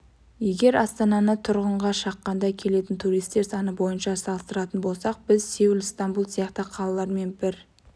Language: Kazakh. егер астананы тұрғынға шаққанда келетін туристер саны бойынша салыстыратын болсақ біз сеул стамбул сияқты қалалармен бір